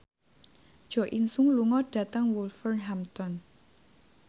Jo In Sung lunga dhateng Wolverhampton